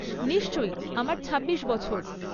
নিশ্চয়ই, আমার ছাব্বিশ বছর।